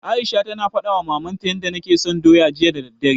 Aisha tana faɗawa mamanta yanda take so doya, jiya da daddare.